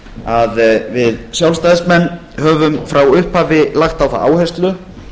að við sjálfstæðismenn höfum frá upphafi lagt á það áherslu